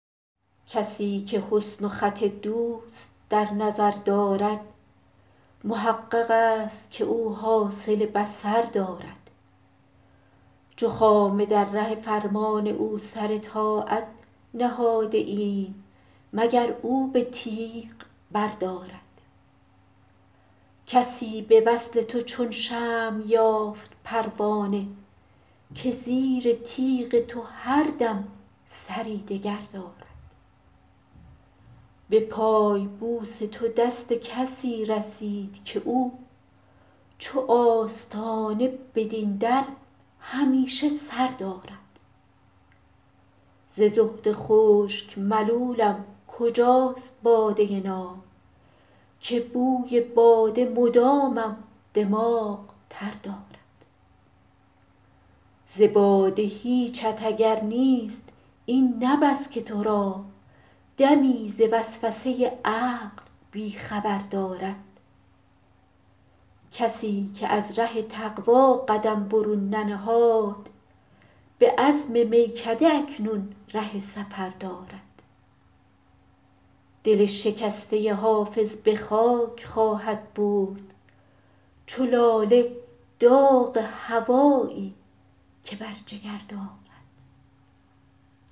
کسی که حسن و خط دوست در نظر دارد محقق است که او حاصل بصر دارد چو خامه در ره فرمان او سر طاعت نهاده ایم مگر او به تیغ بردارد کسی به وصل تو چون شمع یافت پروانه که زیر تیغ تو هر دم سری دگر دارد به پای بوس تو دست کسی رسید که او چو آستانه بدین در همیشه سر دارد ز زهد خشک ملولم کجاست باده ناب که بوی باده مدامم دماغ تر دارد ز باده هیچت اگر نیست این نه بس که تو را دمی ز وسوسه عقل بی خبر دارد کسی که از ره تقوا قدم برون ننهاد به عزم میکده اکنون ره سفر دارد دل شکسته حافظ به خاک خواهد برد چو لاله داغ هوایی که بر جگر دارد